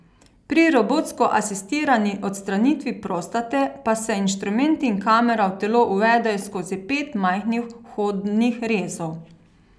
Pri robotsko asistirani odstranitvi prostate pa se inštrumenti in kamera v telo uvedejo skozi pet majhnih vhodnih rezov.